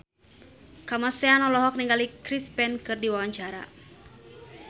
Kamasean olohok ningali Chris Pane keur diwawancara